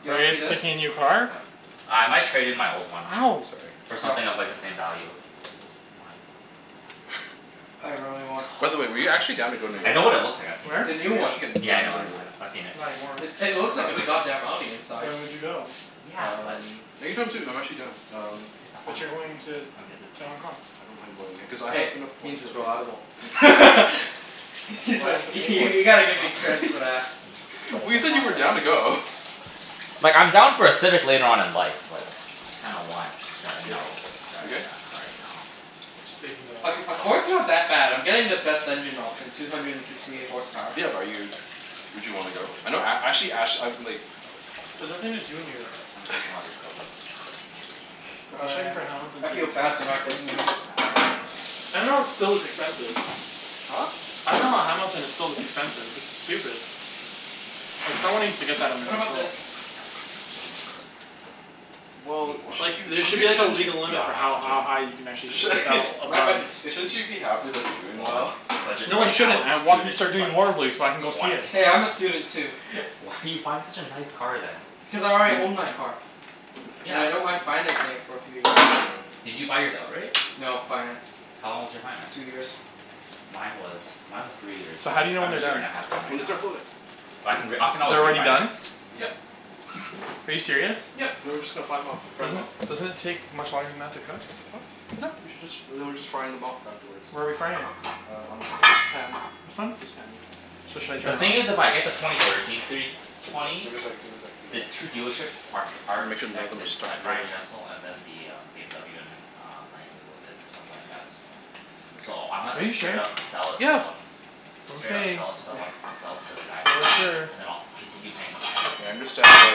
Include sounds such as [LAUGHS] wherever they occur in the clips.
You Are wanna you see guys this? picking a new car? What? Uh, I might trade in my old one. Ow! Sorry. For Yo. something of like, the same value. What? I really T- oh my want By the way, were you god, actually down to go New I York? know what it looks like. I've seen it. The Where? new Were you one. actually g- Yeah, I down to know, go I to New know, I York? know. I've seen it. Not anymore. It it Why looks like a not? f- [LAUGHS] god damn Audi inside. When would you go? Yeah, but Um, anytime soon. I'm actually done. It's a Um s- it's a But you're Honda. going to I mean it's a to Hong Kong. I don't mind going there. Cuz I have Hey, enough points means for it's a free flight. reliable. [LAUGHS] Why do He's I like, have to y- pay for you it? gotta give me Huh? credits [LAUGHS] for that. Mm, but Well it's you a said you were Honda. down to go. Like, I'm down for a Civic later on in life, but I kinda want to, you Yeah. know, drive You a good? fast car right now. Just taking the Ac- Accord's not that bad. I'm getting the best engine option. Two hundred and sixty eight horsepower. Yeah, bu- are you would you wanna go? I know a- actually ash I like [NOISE] There's nothing to do in New York. I'm gonna drink more of [LAUGHS] your cocoa. [NOISE] Go I was right checking ahead. for Hamilton I feel tickets and bad for that's not super getting you any. expensive. Nah, it's all good. [INAUDIBLE] expensive. Huh? I dunno Hamilton is so [INAUDIBLE] expensive. It's stupid. Like, someone needs to get that under What about control. this? A Well, sh- four? sh- Like, there sh- sh- should be as Well, a it's shouldn't you legal it's limit for beyond my how budget. ha- high you can actually sh- [LAUGHS] sell My above budget's shouldn't fifty. you be happy that they're doing Well, my well? budget No, I right now shouldn't. as I a want him to student is start doing like, horribly so I can go see it. twenty. Hey, I'm a student too. [LAUGHS] Why are you buying such a nice car then? Because I already own my car. And Yeah, I don't w- mind financing it for a few years. Did you buy yours outright? No. Financed. How long was your finance? Two years. Mine was mine was three years. So, I'm how do you know a when I'm they're a year and done? a half in right When they now. start floating. But I B- can re- I can u- always they're already done? refinance. Yep. Are you serious? Yep, and then we're just gonna fly 'em off. Fry 'em Doesn't off. it doesn't it take much longer than that to cook? Huh? No, you should just, and then we're just frying them off afterward. Where are we frying it? Uh, on this pan. This one? This pan, yeah. So, should I turn The thing it is, on? if I get the twenty thirteen three Give it a sec, twenty give it a sec, give it a sec, give the it a sec. two dealerships are c- Just wanna aren't make sure none of them are connected. stuck Like Brian together. Jessel and then the um, BMW in uh, Langley was it, or something like that. So, I might Are have you to Okay, yeah. straight sure? up sell it to Yeah. them. Straight up Okay. sell it to the one, s- [LAUGHS] sell it to the guys in You're Langley. sure. And then I'll continue paying the financing. I understand why But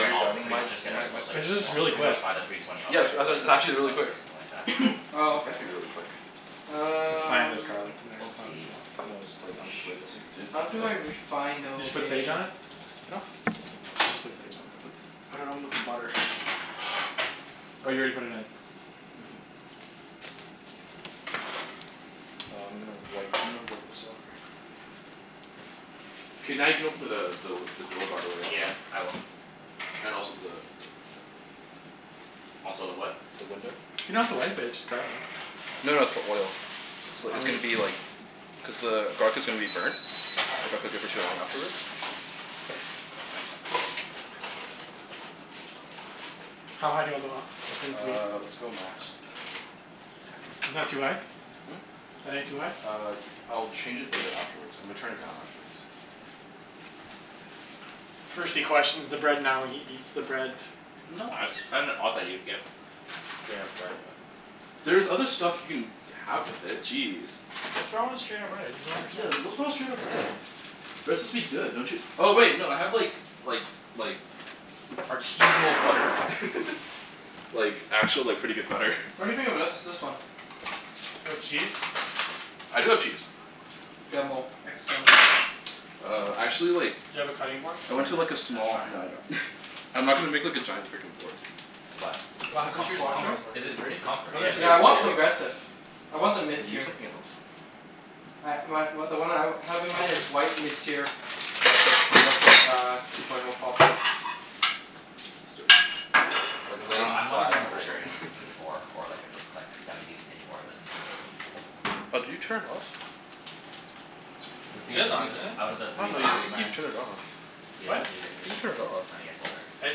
then you're I'll doubting pretty my much just get a my my l- s- like, It's just I'll really [INAUDIBLE] pretty quick. much buy the three twenty Yeah, outright sw- for a like, it's actually two really thousand quick. or something like that. [NOISE] Oh, It's okay. meant to be really quick. It's fine. There's Um garlic in there. We'll It's not a big see. deal. No, it's like, I'm just worried that Shoot. like, you didn't How put do the I refine the Did you put sage location? on it? Huh? You should put sage on it. I put put it on with the butter. Oh, you already put it in? Mhm. Uh, I'm gonna wipe, I'm gonna wipe this off very quickly. K, now you can open the the the door, by the way, Yeah, Alvin. I will. And also the the the Also the what? the window. You don't Oh. have to wipe it. It's just garlic. No no, it's the oil. It's li- Oh, it's gonna really? be like cuz the garlic is gonna be burnt. If I cook it for too long afterwards. How high do you want the l- the thing to be? Uh, let's go max. Isn't that too high? Hmm? That ain't too high? Uh, I'll change it later afterwards. I'm gonna turn it down afterwards. [NOISE] First he questions the bread, now he eats the bread. No, I just find it odd that you would get straight up bread, but There's other stuff you can have with it. Jeez. What's wrong with straight up bread? I just don't Yeah, understand. what's wrong with straight up bread? Bread's Mmm. supposed to be good, don't you Oh wait, no, I have like like like artisanal butter. [LAUGHS] Like, actual like, pretty good butter. What do you think of this this one? You have cheese? I do have cheese. Demo. Ex demo. Uh, actually like Do you have a cutting [NOISE] board? I Yeah went man, to I like a was trying small, to no I don't. I'm not gonna make like a giant frickin' board. But, What it's Is happened it to comf- your it's small com- quattro? cutting board? is Is it, it dirty? it's comfort. Oh no, Still Yeah, it's the, dirty? Yeah, I dirty, want but like yeah. progressive. I want the mid Can you use tier. something else? I my w- the one I w- have in mind is white, mid tier lots of progressive uh, two point oh quattro. Use this instead. Like, I lay dunno. 'em I'm not flat even out or considering something like A that. four or like, a bri- like, semi decent A four at this point. Oh, did you turn it off? Cuz It is on, BMWs, isn't it? outta the Oh three no, you, I luxury think you brands turned it off. What? BMW gets the I think you turned cheapest it off. when it gets older. I didn't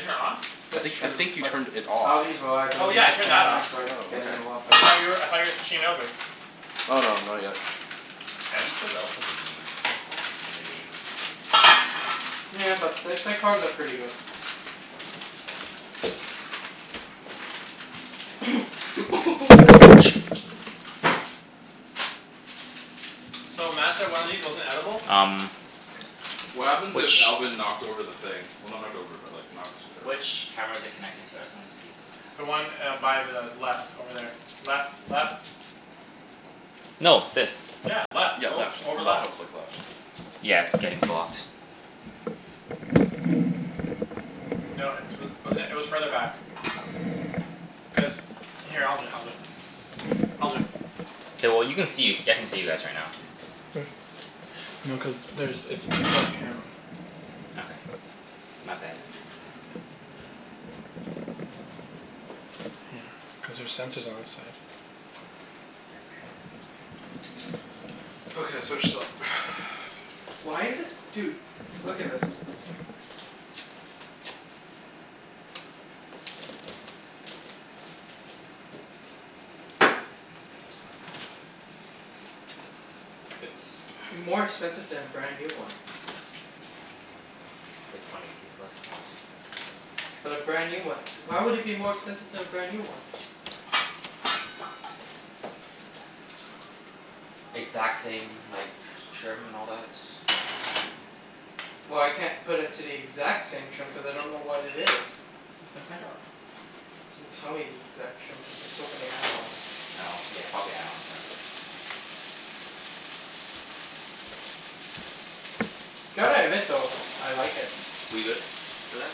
turn it off? I That's think I true, think you but turned it off. Audi's Oh yeah, I reliability turned that off. standards are Oh, getting okay. a lot Cuz I better. thought you were, I thought you were switching over? Oh no, not yet. Audi's still relatively new. In the game. Yeah, but th- their cars are pretty good. [NOISE] [LAUGHS] Dude, I Oh, can't sh- even get this. So, Mat said one of these wasn't edible? Um What happens which if Alvin knocked over the thing? Well, not knocked over but like, knocked it around? which camera is it connected to? I just wanna see cuz The I one kinda uh, by the left over there. Left. Left. No, this. Yeah, left. Yeah, Oh, left. over The laptop's left. like left. Yeah, it's getting blocked. No, it's wa- wasn't it? It was further back. Cuz, here, I'll do it. I'll do it. I'll do it. K, well you can see. I can see you guys right now. Mm. No, cuz there's, it's a two port camera. Okay. My bad. Yeah. Cuz there's sensors on this side. Okay, let's finish this up. [NOISE] Why is it? Dude, look at this. What? It's more [NOISE] expensive to have a brand new one. I dunno why. Cuz twenty eighteen's about to come out? But a brand new one? Why would it be more expensive to have a brand new one? Exact same, like, trim and all that? Well, I can't put it to the exact same trim cuz I don't know what it is. You can find out. It doesn't tell me the exact trim cuz there's so many add-ons. Oh, yeah, probably add-ons then. Gotta admit though, I like it. We good for that?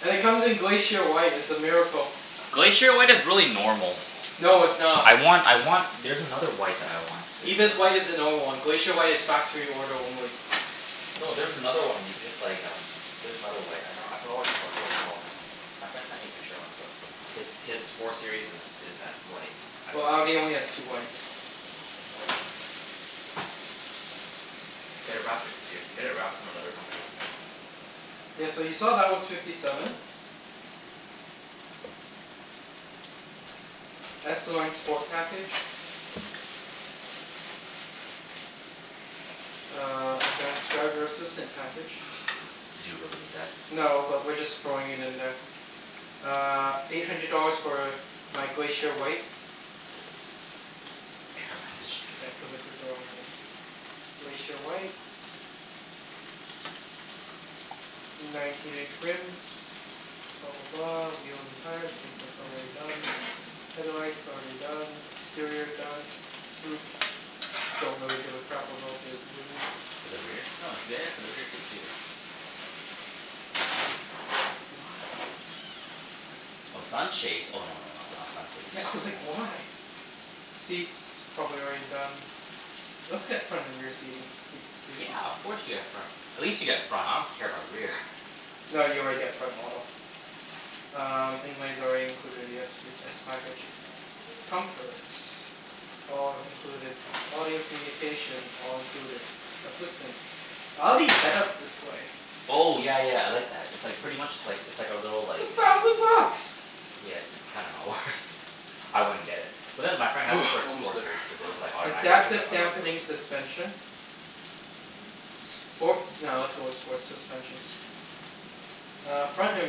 And it comes in Glacier White. It's a miracle. Glacier White is really normal. No, it's not. I want I want, there's another white that I want. It's Ibis White uh is the normal one. Glacier White is factory order only. No, there's another one that you can just like, um there's another white. I dunno, I forgot what it cal- what it's called. My friend sent me a picture once, though. His his four series is is that white. I Well, for- Audi only has two whites. [NOISE] Get a wrapped exter- get it wrapped from another company. Yeah, so you saw that was fifty seven. S Line Sport Package. [NOISE] Uh, advanced driver assistant [LAUGHS] package. Do you really need that? No, but we're just throwing it in there. Uh, eight hundred dollars for my Glacier White. Error message. Yeah, cuz I clicked the wrong thing. Glacier White. Nineteen inch rims. Blah blah blah. Wheels and tires. I think that's already done. Headlights, already done. Exterior done. Roof. Don't really give a crap about the win- For the rear? No, get air for the rear seat, too. Why? Why? Oh, sun shades? Oh, no no no, not sun sage. Yeah, I was like, "Why?" Seats, probably already done. Let's get front and rear seating. Re- reseat. Yeah, of course you get front. At least you get front. I don't care about rear. [NOISE] No, you already get front auto. Um, inlay's already included in the s p s package. Comfort. All included. Audio communication, all included. Assistance. Audi head up display? Oh, yeah yeah, I like that. It's like, pretty much it's like, it's like a little It's a like thousand bucks! Yeah, it's it's kinda not worth I wouldn't get it. But then my friend has it for his [NOISE] four Almost there. series, cuz it was Finally. Are you automatically gonna Adaptive unwrap the dampening rest of this? suspension. Sports, nah, let's go with sports suspension. Uh, front and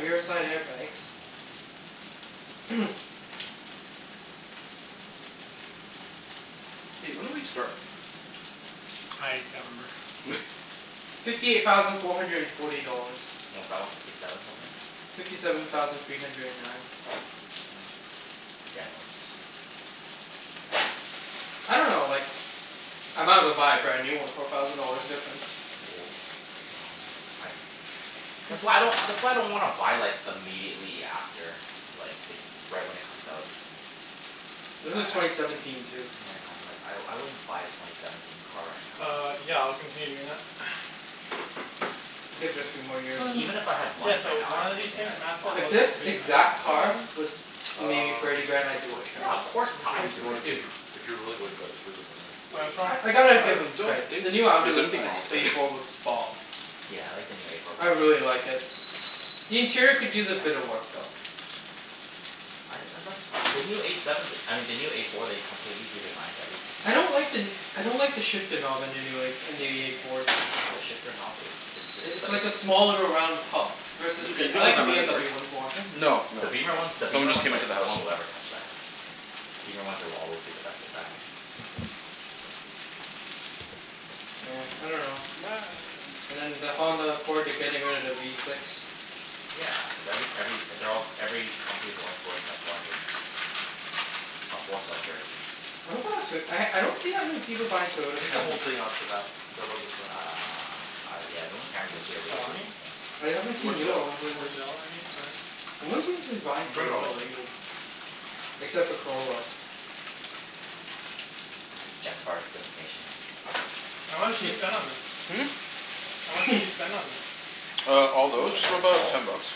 rearside airbags. [NOISE] Hey, when did we start? I can't remember. [LAUGHS] Fifty eight thousand four hundred and forty dollars. What was that one? Fifty seven something? Fifty seven thousand three hundred and nine. Yeah. Demos. I don't know, like, I might as well buy a brand new one for a thousand dollars difference. Well, I dunno. I'd That's why I don't, that's why I don't wanna buy like, immediately after like, the y- right when it comes out. This is Like, twenty I I seventeen, too. Yeah, I know. Like, I I wouldn't buy a twenty seventeen car right now. Uh, yeah. I'll continue doing that. [NOISE] I'd give it a few more years. Like, even if [NOISE] I had Yeah, money so right now, I one of don't these think things I'd Mat said buy If wasn't this good to [INAUDIBLE] eat, exact for some car reason? was maybe thirty Um, grand? the I'd do it. Yeah, of porchetta? course. What's T- Well, I'd it do you wanna, it, too. if you If you're really worried about it, just leave it for now. Why, Eek- what's wrong I with I it? gotta I give them don't creds. think The new Audi there's l- anything wrong S with A it. [NOISE] four looks bomb. Yeah, I like the new A four I by really Audi. like it. The interior could use a bit of work, though. Mm, I I like the new A seven, I mean the new A four they completely redesigned everything. I don't like the n- I don't like the shifter knob in the new a for- in the A fours. The shifter knob is, it I- it's it's like a like a s- small little round pub. Is Versus it the, I beeping like cuz the I'm by the door? BMW ones more. Hmm? No, The no, beamer no. one, the Someone beamer just ones, came like, into the no house. one will ever touch that. Beamer ones will always be the best at that. Yeah. I dunno. And [NOISE] then the Honda Accord, they're getting rid of the V six. Yeah, cuz every every, they're all, every company's going towards like, four engines. Or four cylinder engines. What about a Toyo- I I don't Love see this that many stuff. Tu- people s- buying e- Toyota Take the whole Camrys. thing off of that. Cuz I love this stuff. Uh, I yeah, the only Camrys I It's see are just really old salami? ones. I haven't seen newer Mortadella. ones lately. Mortadella I mean, sorry. No one seems to be buying Bring it all Toyota out. lately. Except for Corollas. Jeff's part of civic nation now. How much did you [LAUGHS] spend on this? Hmm? How much did you [NOISE] spend on this? Uh, all Oh, those? I Just got a about call. ten bucks.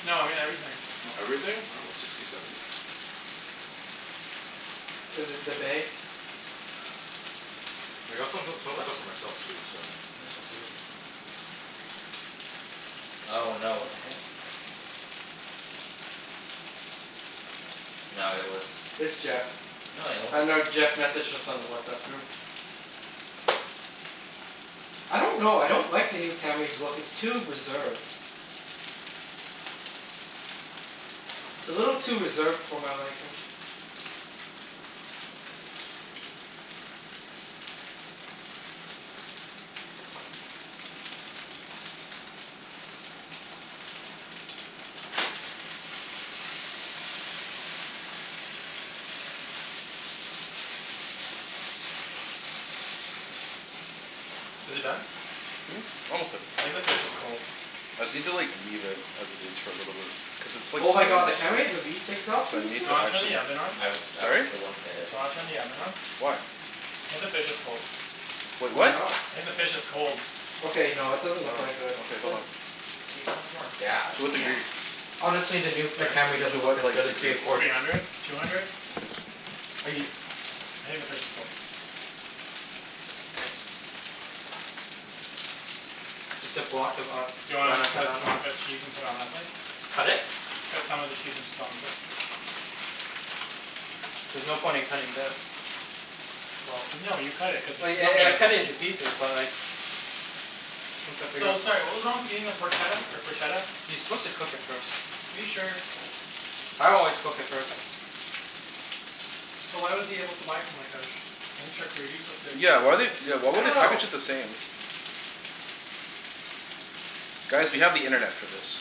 No, I mean everything. Oh, everything? I dunno. Sixty, seventy? Is it the bay? I got some o- some of the What? stuff for myself, too, so [INAUDIBLE] Oh, no, what the heck? No, it was It's Jeff. No, it Uh wasn't no, Jeff messaged us on the WhatsApp group. I don't know. I don't like the new Camry's look. It's too reserved. It's a little too reserved for my liking. Is it done? Hmm? Almost there. I think the fish is cold. I just need to like, leave it as it is for a little bit. Cuz it's like, Oh my god, starting the to Camry stick. has a V six So I option Do need you still? to wanna turn the actually oven on? I would st- I would, Sorry? still wouldn't get it. Do [NOISE] you wanna turn the oven on? Why? I think the fish is cold. Wait, Why what? not? I think the fish is cold. Okay, no, it doesn't look Oh. that good. Okay, hold on. Cuz it's takes so much more gas. To what Yeah. degree? [NOISE] Honestly, the new, the Sorry? Camry doesn't To look what, as like, good as the degree? Accord. Three hundred. Two hundred? Okay. Are you I think the fish is cold. Nice. Just a block of a- Do you want me Grana to cut, Padano. want me to cut cheese and put it on that plate? Cut it? Cut some of the cheese and just put it on the plate. There's no point in cutting this. Well no, you cut it. Cuz you Well ye- e- cut it can't [INAUDIBLE] a into piece. pieces, but like once I figure So, out sorry what was wrong with eating the Porchetta, or Proshetta? You're supposed to cook it first. Are you sure? I always cook it first. So why was he able to buy it from like, a sh- isn't charcuterie supposed to be Yeah, why like they, eaten why I would don't they know. [INAUDIBLE] package it the same? Guys, we have the internet for this.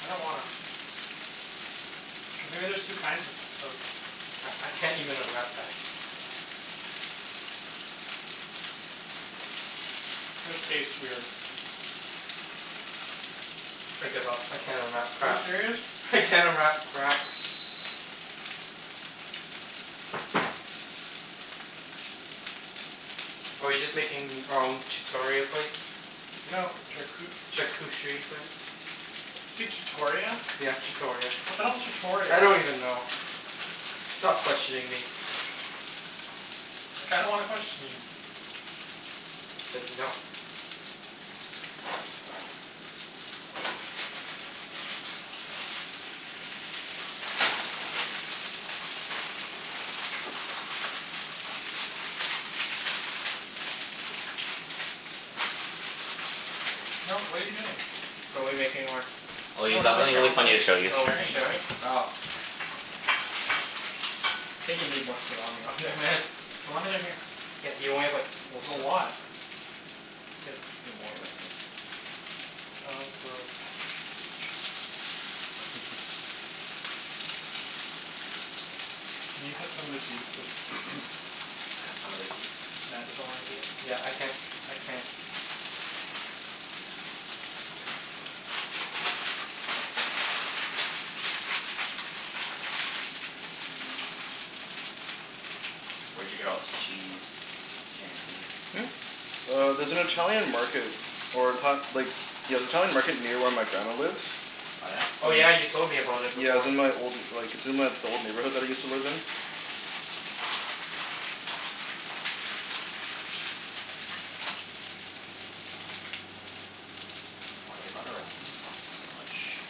I don't wanna. Cuz maybe there's two kinds of of C- I can't even unwrap that. This tastes weird. I give up. I can't unwrap Are you crap. serious? I can't unwrap crap. Are we just making our own chutoria plates? No, charcu- Charcucherie plates? Say chutoria? Yeah, chutoria. What the hell's chutoria? I don't even know. Stop questioning me. I kinda wanna question you. I said no. No, what are you doing? Are we making our Oh, No, we're Ibs, I not have something making our really own funny to plates. show you. We're Oh, we'll be sharing sharing? this. Oh. I think you need more salami on there, man. Salami's right here. Yeah, you only have like, four There's a sli- lot. Better put a few more. Here, look at this. John [INAUDIBLE] [LAUGHS] Can you cut some of the cheese so s- [NOISE] Cut some of the cheese? since Mat doesn't wanna do it. Yeah, I can't, I can't. Where'd you get all this cheese, Chancey? Hmm? Uh, there's an Italian market or in ta- like Yeah, the Italian market near where my grandma lives. Oh yeah? Oh yeah, you An- told me about it Yeah, it before. was in my old like, it's in my, the old neighborhood that I used to live in. Why do they gotta wrap it in plastic so much?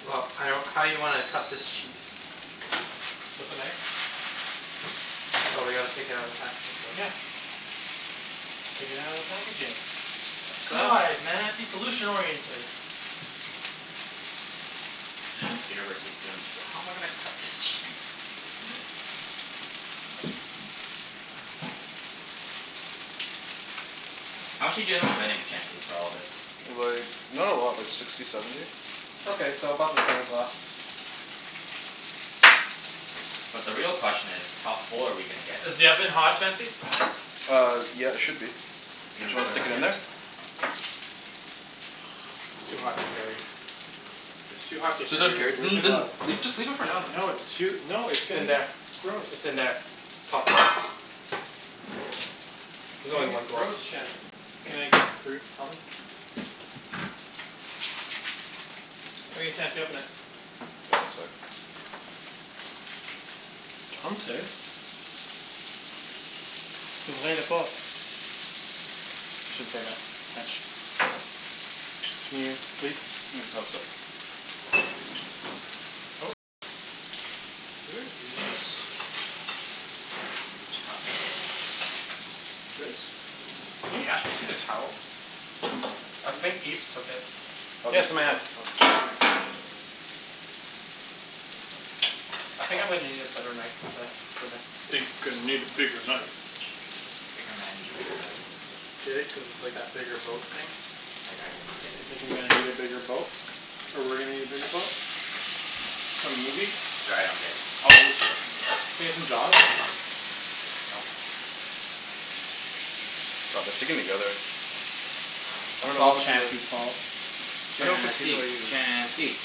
Well, I don't, how you wanna cut this cheese? With a knife. Oh, we gotta take it outta the packaging first. Yeah. Take it outta the packaging. Sa- God, Mat, be solution oriented. [LAUGHS] University students. So how am I gonna cut this cheese? [LAUGHS] [NOISE] How much did you end up spending, Chancey, for all of this? Like, not a lot. Like, sixty, seventy. Okay, so about the same as last. But the real question is how full are we gonna get from Is the oven this? hot, Chancey? Uh, yeah, it should be. Are you Did gonna you re- wanna put it stick back it in in? there? It's too hot to carry. It's too hot to So don't care, carry. Where's n- the th- n- glove? Leave, just leave it for now, No, then. it's too, no, it's It's in there. [INAUDIBLE] I- Gross. it's in there. Top drawer. It's There's only gonna one get glove. gross, Chancey. Can I get through? Oven. All right, Chancey, open it. One sec. Chancey. [INAUDIBLE] I shouldn't say that. French. Can you, please? Mm? Oh, sor- Ooh. Where is a towel? Guys? Hmm? Yeah? Seen a towel? I think Ibs took it. Oh, Yeah, it's Ibs in my hand. [INAUDIBLE] Oh, thank you. [INAUDIBLE] I think I'm gonna need a better knife than that for the Think I need a bigger knife. Bigger man needs a bigger knife. Get it? Cuz it's like that bigger boat thing? I I do not get it. Thinking that I need a bigger boat. Or we're gonna need a bigger boat. Nope. For movies. Sorry, I don't get it. Oh [INAUDIBLE] [INAUDIBLE] Nope. God, they're sticking together. I don't It's know all what to do. Chancey's fault. Chancey! [INAUDIBLE] Chancey!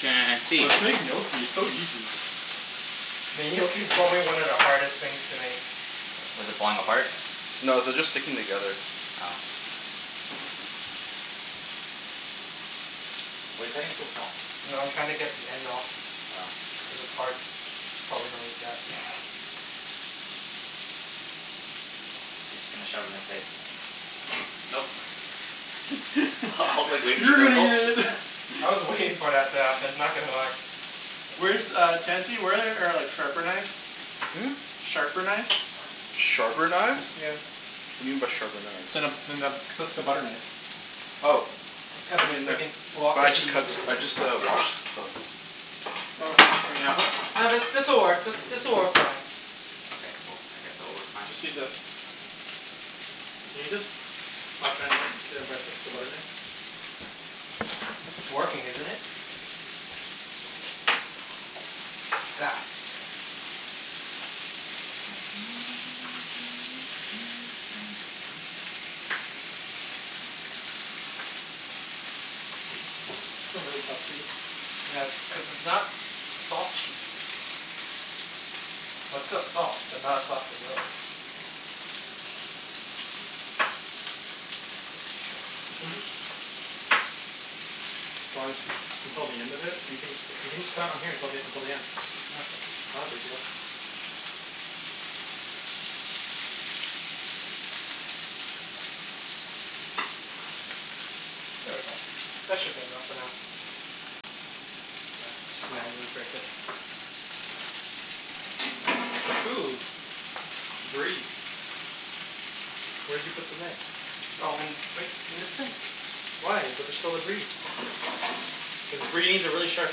Chancey! Let's make gnocchi. It's so easy. Mean gnocchi's probably one of the hardest things to make. What, is it falling apart? No, they're just sticking together. Oh. Why are you cutting it so small? No, I'm trying to get the end off. Oh. Cuz it's hard. Probably don't eat that. [LAUGHS] He's just gonna shove it in his face. Nope. [LAUGHS] I I was like, waiting for you to go gulp. [INAUDIBLE] I was waiting for that to happen. Not gonna lie. Where's Uh. uh, Chancey? Where are like sharper knives? Hmm? Sharper knives? Sharper knives? Yeah. What do you mean by sharper knives? Then a, than the, just a butter knife. Oh. I'm They'll cutting a be in there. fricking block But of I just cheese. cuts, I just uh washed them. Oh, in the oven? No, this this'll work, this this'll work fine. Okay, cool. I guess it'll work fine. Just use this. Can you just stop trying to impress us with a butter knife? It's working, isn't it? [NOISE] I don't know what you expect to me. [NOISE] That's a really tough cheese. Yeah, it's cuz it's not soft cheese. Well, it's still soft, but not as soft as those. You can just [INAUDIBLE] Why don't just until the end of it? You can jus- you can just cut it on here till the until the end. Okay. Not a big deal. There we go. That should be enough for now. Yeah, just Just manually manually break break it. it. Ooh. Brie. Where'd you put the knife? Oh in, right in the sink. Why? But there's still the brie. Cuz brie needs a really sharp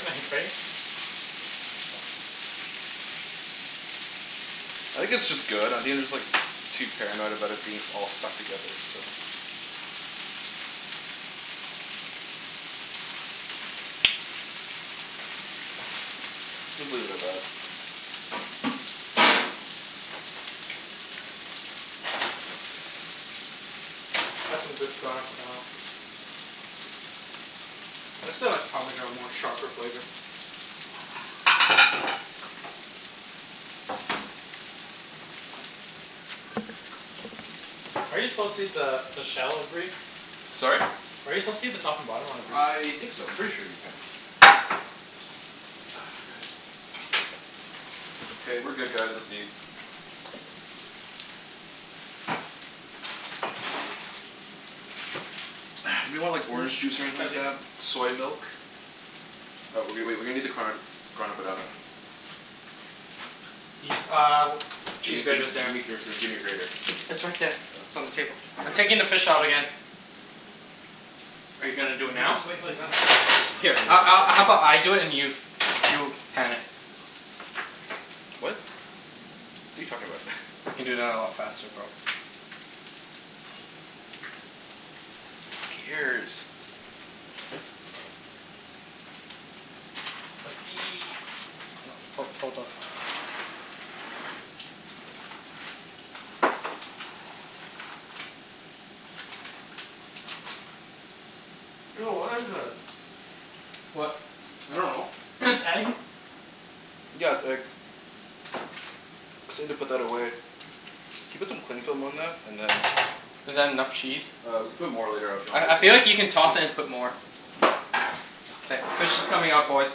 knife, right? I think it's just good. I think I'm just like too paranoid about it being s- all stuck together, so Let's leave it at that. [NOISE] That's some good Grana Padano. [NOISE] I still like parmesan more. Sharper flavor. Are you supposed to eat the the shell of brie? Sorry? Are you supposed to eat the top and bottom on the brie? I think so. I'm pretty sure you can. Ah, god. [NOISE] K, we're good guys. Let's eat. [NOISE] Anyone want like orange juice or anything like Chancey. that? Soy milk? Uh, w- w- wait. We're gonna need the card Grana Padano. Eat uh, cheese Gimme gimme grater's g- there. gimme gr- gr gimme your grater. It's it's right there. It's Oh. on the table. I'm taking the [INAUDIBLE] fish out again. Are you You gonna can do it now? just wait until he's done. Here a- a- how [INAUDIBLE] about I do it and you you pan it? What? What are you talking about? [LAUGHS] I can do that a lot faster, bro. Fucking ears. Let's eat. [NOISE] Hold on. Ho- hold up. Ew, what is this? What? I dunno. This [NOISE] egg? Yeah, it's egg. Just need to put that away. Can you put some cling film on that? And then Is that enough cheese? Uh, we can put more later af- you want, I if I you feel want. like you can toss it and put more. Yeah. K, fish is coming out, boys.